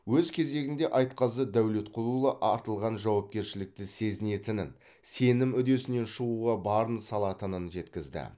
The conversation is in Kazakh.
өз кезегінде айтқазы дәулетқұлұлы артылған жауапкершілікті сезінетінін сенім үдесінен шығуға барын салатынын жеткізді